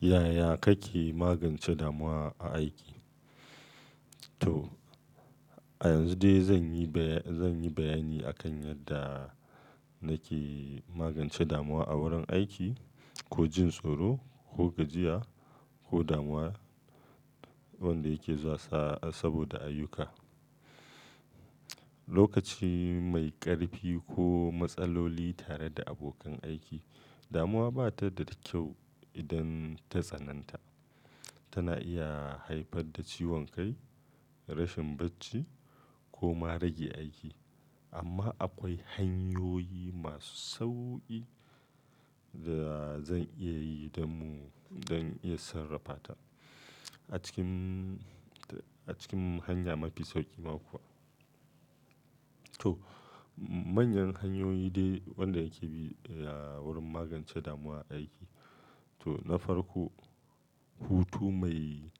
Yaya kake magance damuwa a aiki? To a yanzu dai zan yi, zan yi bayani a kan yadda nake magance damuwa a wurin aiki ko jin tsoro ko gajiya ko damuwa wanda yake zuwa sa, saboda ayyuka, lokaci mai ƙarfi ko matsaloli tare da abokan aiki. Damuwa ba ta da da kyau idan ta tsananta. Tana iya haifar da ciwon kai, rashin bacci ko ma rage aiki. Amma akwai hanyoyi masu sauƙi da zan iya yi dan mu don iya sarrafa ta. A cikin, a cikin hanya mafi sauƙi ma kuwa. To manyan hanyoyi dai wanda nake bi wurin magance damuwa a aiki. To na farko, hutu mai,